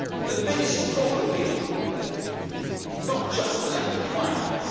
The biggest problem here is not just a lack of finance.